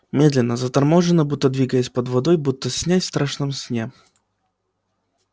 медленно заторможенно будто двигаясь под водой будто снясь в страшном сне